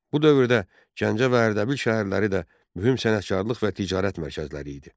Bu dövrdə Gəncə və Ərdəbil şəhərləri də mühüm sənətkarlıq və ticarət mərkəzləri idi.